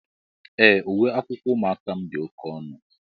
Ee, uwe akwụkwọ ụmụaka m dị oké ọnụ